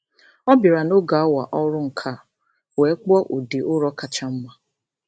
Ọ bịara n'oge awa ọrụ nka wee kpụọ ụdị ụrọ kacha mma.